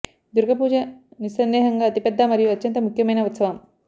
దుర్గ పూజ నిస్సందేహంగా అతి పెద్ద మరియు అత్యంత ముఖ్యమైన ఉత్సవం